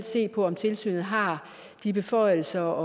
se på om tilsynet har de beføjelser